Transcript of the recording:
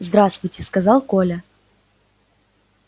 здравствуйте сказал коля